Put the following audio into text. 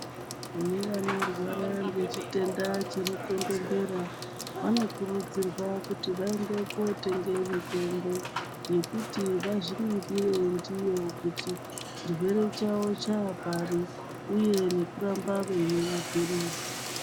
Kune vanorwara ngechitenda chemukondombera vanokurudzirwa kuti vaende kotenge mitombo yekuti vazviningire ndiyo kuti tichirwere chavo chapari uye nekuramba veimwa mapirizi.